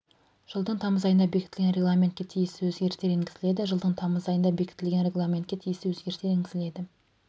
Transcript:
жылыдың тамыз айында бекітілген регламентке тиісті өзгерістер енгізіледі жылдың тамыз айында бекітілген регламентке тиісті өзгерістер енгізіледі